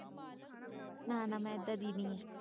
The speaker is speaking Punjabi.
ਨਾ ਨਾ ਮੈਂ ਏਦਾਂ ਦੀ ਨਹੀਂ ਹਾਂ